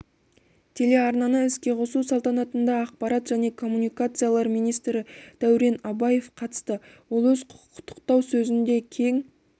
телеарнаны іске қосу салтанатында ақпарат және коммуникациялар министрі дәурен абаев қатысты ол өз құттықтау сөзінде кең